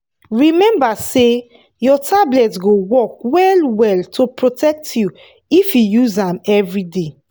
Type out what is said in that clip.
remember say your tablet go work well-well to protect you if you use am every day.